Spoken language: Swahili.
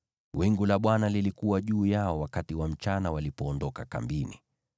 Wingu la Bwana lilikuwa juu yao wakati wa mchana walipoondoka kambini.